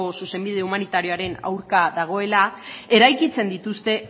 zuzenbide humanitarioaren aurka dagoela eraikitzen dituzte